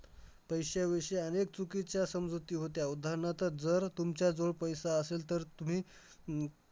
पैशाविषयी अनेक चुकीच्या समजुती होत्या. उदाहरणार्थ, जर तुमच्या जवळ पैसा असंल, तर तुम्ही हम्म